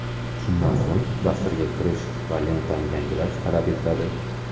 Shundan so‘ng dasturga kirish va lentani yangilash talab etiladi.